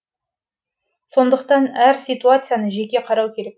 сондықтан әр ситуацияны жеке қарау керек